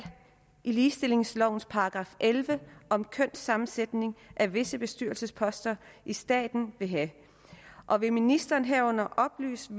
i ligestillingslovens § elleve om kønssammensætning af visse bestyrelsesposter i staten vil have og vil ministeren herunder oplyse